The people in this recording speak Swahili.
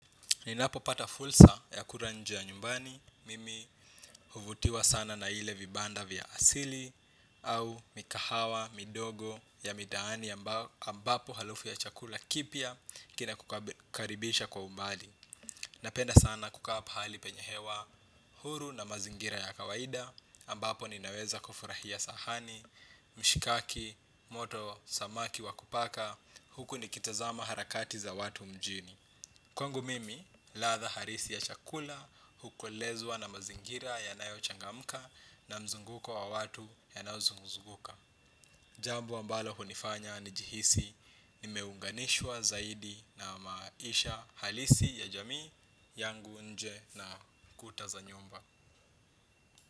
Ninapopata fursa ya kula nje ya nyumbani, mimi huvutiwa sana na ile vibanda vya asili, au migahawa, midogo ya mitaani ambapo harufu ya chakula kipya kinakukaribisha kwa umbali. Napenda sana kukaa pahali penye hewa huru na mazingira ya kawaida, ambapo ninaweza kufurahia sahani, mshikaki, moto, samaki wa kupaka, huku nikitazama harakati za watu mjini. Kwangu mimi, ladha halisi ya chakula, hukolezwa na mazingira yanayochangamka na mzunguko wa watu ya yanayozunguka. Jambo ambalo hunifanya nijihisi nimeunganishwa zaidi na maisha halisi ya jamii yangu nje na kuta za nyumba.